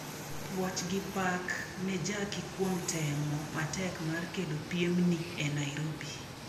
Puoch gi pak ne Jackie kuom temo matek mar kelo piem ni e Nairobi.